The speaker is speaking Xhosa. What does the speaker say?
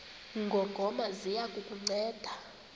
ngongoma ziya kukunceda